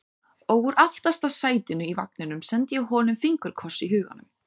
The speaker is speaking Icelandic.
Og úr aftasta sætinu í vagninum sendi ég honum fingurkoss í huganum.